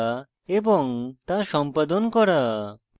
to সম্পাদন করা